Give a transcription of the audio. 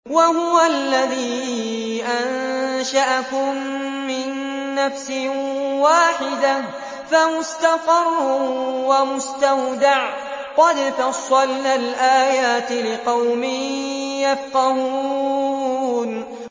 وَهُوَ الَّذِي أَنشَأَكُم مِّن نَّفْسٍ وَاحِدَةٍ فَمُسْتَقَرٌّ وَمُسْتَوْدَعٌ ۗ قَدْ فَصَّلْنَا الْآيَاتِ لِقَوْمٍ يَفْقَهُونَ